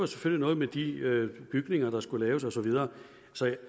selvfølgelig noget med de bygninger der skulle laves og så videre så